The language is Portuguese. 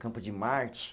Campo de Marte.